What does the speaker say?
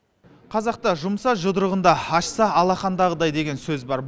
қазақта жұмса жұдырығында ашса алақандағыдай деген сөз бар